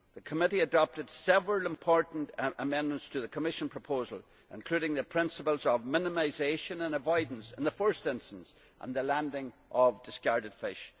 The committee adopted several important amendments to the Commission proposal, including the principles of minimisation and avoidance in the first instance and the landing of discarded fish.